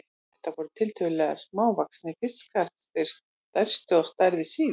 Þetta voru tiltölulega smávaxnir fiskar, þeir stærstu á stærð við síld.